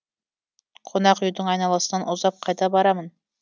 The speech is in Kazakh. қонақүйдің айналасынан ұзап қайда барамын